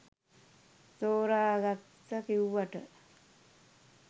තෝරගත්ත කිව්වට